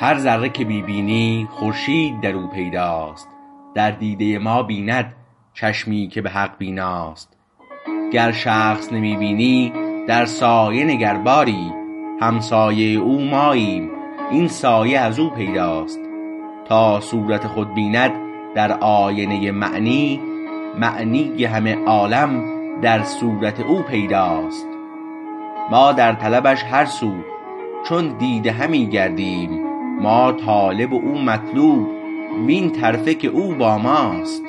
هر ذره که می بینی خورشید در او پیداست در دیده ما بیند چشمی که به حق بیناست گر شخص نمی بینی در سایه نگر باری همسایه او ماییم این سایه ازو پیداست تا صورت خود بیند در آینه معنی معنی همه عالم در صورت او پیداست ما در طلبش هر سو چون دیده همی گردیم ما طالب و او مطلوب وین طرفه که او با ماست